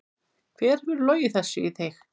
Hver hefur logið þessu í þig?